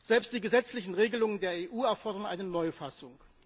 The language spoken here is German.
Selbst die gesetzlichen Regelungen der EU erfordern eine Neufassung.